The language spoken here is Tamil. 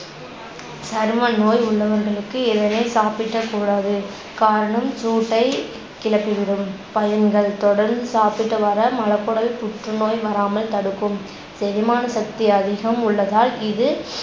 சரும நோய் உள்ளவர்களுக்கு இதனை சாப்பிடக்கூடாது காரணம் சூட்டைக்கிளப்பிவிடும். பயன்கள் தொடர்ந்து சாப்பிட்டு வர மலக்குடல் புற்றுநோய் வராமல் தடுக்கும் செரிமானசக்தி அதிகம் உள்ளதால் இது